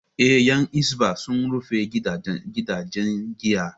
Eh, Yan Hisbah sun rufe gidaje giyar